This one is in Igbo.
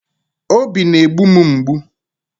Obi na-egbu m mgbu.